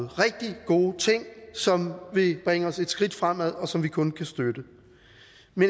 rigtig gode ting som vil bringe os et skridt fremad og som vi kun kan støtte